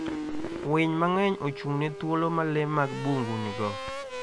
Winy mang'eny ochung'ne thuolo ma le mag bungu nigo.